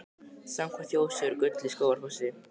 Samkvæmt þjóðsögu er gull í Skógafossi.